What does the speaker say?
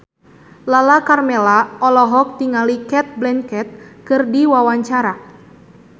Lala Karmela olohok ningali Cate Blanchett keur diwawancara